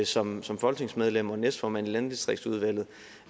som som folketingsmedlem og næstformand i landdistriktsudvalget